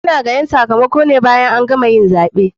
Ana gayan sakamakone bayan an gama yin zaɓe.